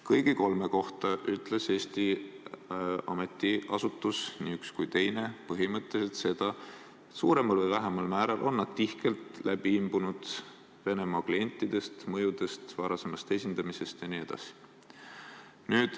Kõigi kolme kohta ütlesid Eesti ametiasutused, nii üks kui teine, põhimõtteliselt seda, et suuremal või vähemal määral on nad tihkelt läbi imbunud Venemaa klientidest, mõjudest, varasemast esindamisest jne.